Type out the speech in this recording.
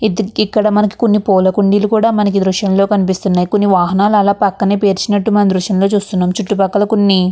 ఇక్కడ మనకి కొన్ని పూల కుండీలు కూడా మనకి ఈ దృశ్యంలో కనిపిస్తున్నాయి కొన్ని వాహనాలు అలా పక్కనే పేర్చినట్టు మన దృశ్యం లో చూస్తున్నాము చుట్టూ పక్కల కొన్ని --